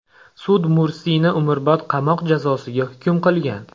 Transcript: Sud Mursini umrbod qamoq jazosiga hukm qilgan.